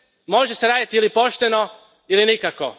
Može se raditi ili pošteno ili nikako.